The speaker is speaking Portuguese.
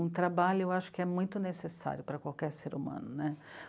Um trabalho eu acho que é muito necessário para qualquer ser humano, né?